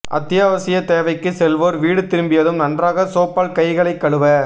அத்தியாவசிய தேவைக்கு செல்வோர் வீடு திரும்பியதும் நன்றாக சோப்பால் கைகளை கழுவ